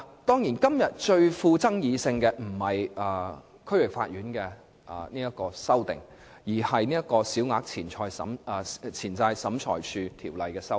當然，今天最富爭議性的不是有關區域法院的修訂，而是《小額錢債審裁處條例》的修訂。